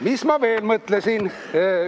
Mis ma veel mõtlesin?